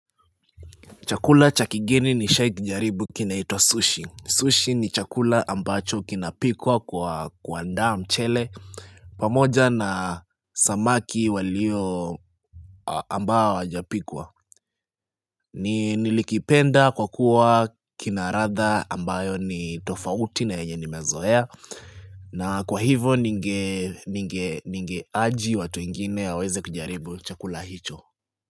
Chakula cha kigeni nishawahi kukijaribu kinaitwa sushi. Sushi ni chakula ambacho kinapikwa kwa kuanda mchele. Pamoja na samaki walio ambao hawajapikwa. Nilikipenda kwa kuwa kina ladha ambayo ni tofauti na yenye nimezoea. Na kwa hivo ninge aji watu wengine waweze kujaribu chakula hicho.